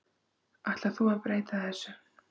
Ætlar þú að breyta þessu?